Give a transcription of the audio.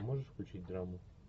можешь включить драму